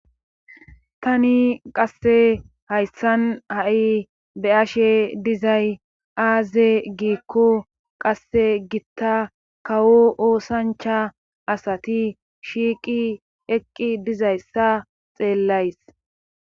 Tani qasse hayssan ha'i be ashe dizay aaze giikko qasse gitta kawo oosancha asati shiiqi eqqi dizayssa xeellays.